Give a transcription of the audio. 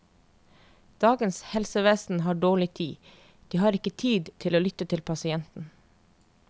Dagens helsevesen har dårlig tid, de har ikke tid til å lytte til pasienten.